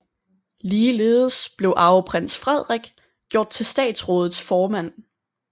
Ligeledes blev arveprins Frederik gjort til statsrådets formand